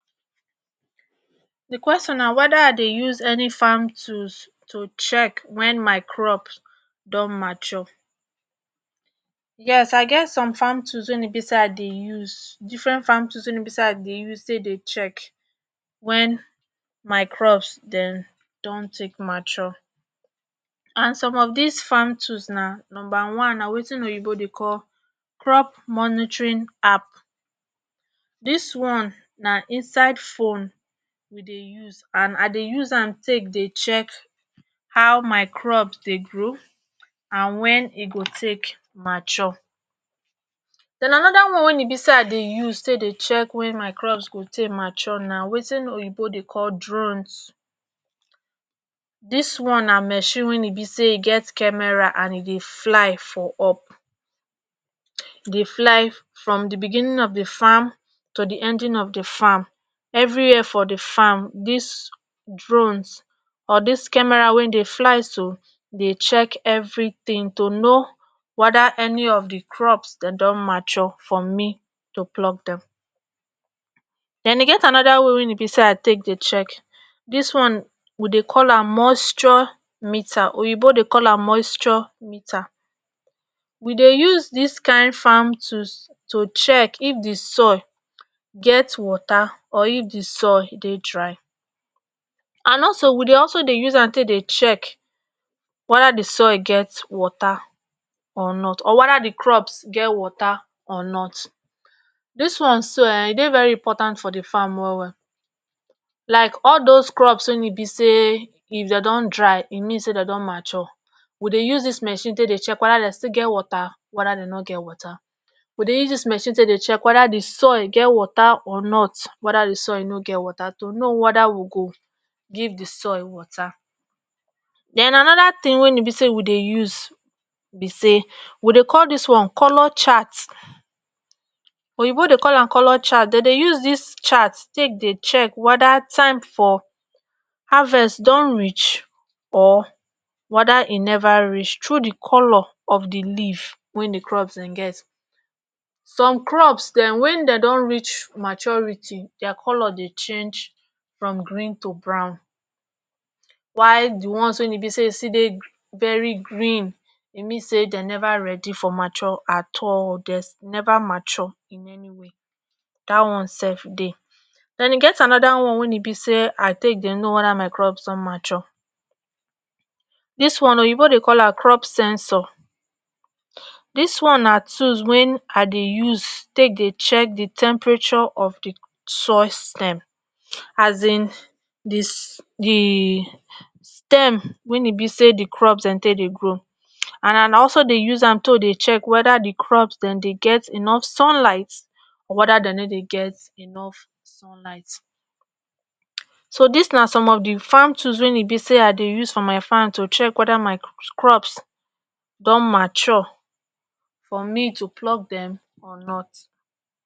di question na weda i dey use any farm tools to check wen my crops don mature yes i get some farm tools wein be say i dey use different farm tools wein be say i dey use take dey check wen my crops den don take mature and some of dis farm tools na numba one na wetin oyibo dey call crop monitrin app dis one na inside phone we dey use and I dey use an take dey check how my crops dey grow and wen e go take mature den anoda one wen e be say i dey use take dey check wen my crops go take mature na wetin oyibo dey call drones dis one na machine wen e be say e get kemera and e dey fly for up dey fly from di begining of di farm to di ending of di farm everywhere for di farm dis drone or dis kemera wey dey fly so dey check everything to no weda eni of di crops den don mature for me to pluck Dem den e get anoda way wein e be say i take dey check dis one we dey call am moisture meter oyibo dey call am moisture meter we dey use dis kind farm tools to check if di soil get water or if di soil dey dry and also we dey also dey use am take dey check weda di soil get water or not or weda di crops get water or not dis one so um e dey very important for di farm well well like all dose crops wein e be say if den don dey dry e mean say den don mature we dey use dis machine dey check weda dey still get water weda dey nor get water we dey use machine take dey check weda di soil get water or not weda di soil nor get water to no weda we go give di soil water den anode tin wey e be say we dey use be say we dey call dis one color chat oyibo dey call am color chat de dey use dis chat take dey check weda time for harvest don reach or weda e never reach tru di color of di leaf wen di crops den get some crops den wen den don reach maturity dia color dey change from green to brown wai di ones wey e be say e still dey very green e mean say de never ready for mature at all dey never mature in any way dat one sef dey and e get anoda one wey e be say I take dey no weda my crops don mature dis one oyibo dey call am crop sensor dis one na tools wein I dey use take dey check di temperature of di soil stem um di stem wen e be say di crops den take dey grow an i dey also dey use am take dey check weda di crops den dey get enof sunlight or weda dey nor dey get enof sunlight so dis na some of di farm tools wein be say I dey use for my farm to check weda my sus crop don mature for me to pluck dem or not